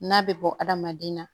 N'a bɛ bɔ hadamaden na